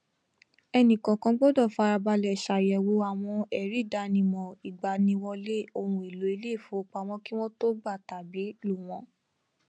ẹnìkọọkan gbọdọ farabalẹ ṣàyẹwò àwọn ẹríìdánimọ ìgbaniwọlé ohunèlò ilé ìfowópamọ kí wọn tó gbà tàbí lò wọn